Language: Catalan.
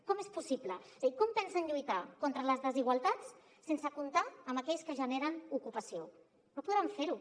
com és possible és a dir com pensen lluitar contra les desigualtats sense comptar amb aquells que generen ocupació no podran fer ho